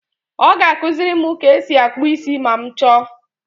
Ọ ga-akụziri m ka e si akpụ isi ma m chọọ.